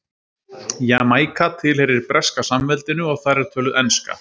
Jamaíka tilheyrir Breska samveldinu og þar er töluð enska.